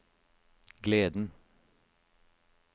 gleden